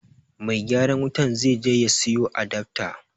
Mai gyaran wutan zai je ya siyo adafta